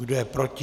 Kdo je proti?